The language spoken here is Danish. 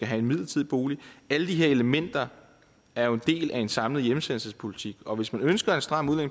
have en midlertidig bolig alle de her elementer er jo en del af en samlet hjemsendelsespolitik og hvis man ønsker en stram